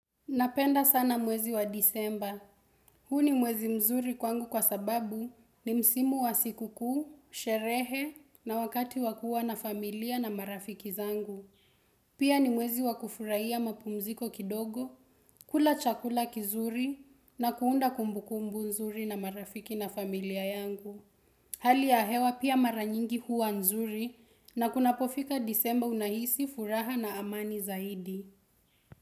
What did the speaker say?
Napenda sana mwezi wa Disemba. Huu ni mwezi mzuri kwangu kwa sababu ni msimu wa siku kuu, sherehe na wakati wa kuwa na familia na marafiki zangu. Pia ni mwezi wa kufuraiya mapumziko kidogo, kula chakula kizuri na kuunda kumbukumbu nzuri na marafiki na familia yangu. Hali ya hewa pia mara nyingi huwa nzuri na kunapofika Disemba unahisi furaha na amani zaidi.